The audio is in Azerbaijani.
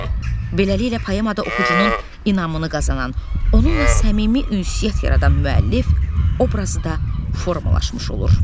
Beləliklə, poemada oxucunun inamını qazanan, onunla səmimi ünsiyyət yaradan müəllif obrazı da formalaşmış olur.